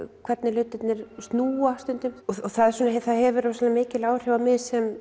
hvernig hlutirnir snúa stundum það hefur rosalega mikil áhrif á mig sem